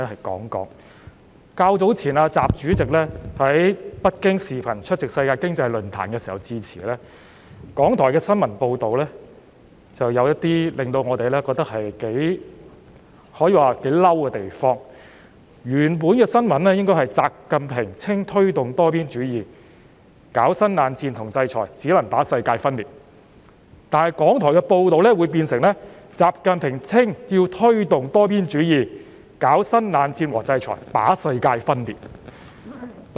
較早前，習主席在北京透過視像會議出席世界經濟論壇時致辭，而港台的新聞報道就有一些令我們感到可以說是頗為生氣的地方，原本的報道應該是"習近平稱要推動多邊主義，搞新冷戰和制裁只能把世界分裂"，但港台的報道卻變成"習近平稱要推動多邊主義，搞新冷戰和制裁把世界分裂"。